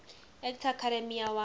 actor academy award